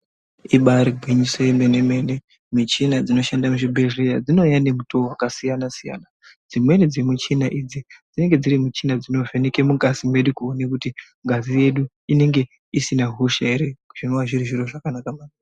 Ibaari gwinyiso yemene-mene, michina dzinoshanda muzvibhedhlera dzinouya nemitowo wakasiyana-siyana. Dzimweni dzemichhina idzi dzinenge dziri michhina dzinovheneke mungazi mwedu kuone kuti ngazi yedu inenge isina hosha ere? Zvinova zviri zviro zvakanaka maningi.